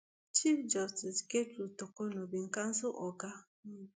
chief justice gertrude torkornoo bin cancel oga um